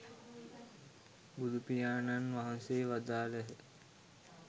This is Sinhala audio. බුදුපියාණන් වහන්සේ වදාළහ.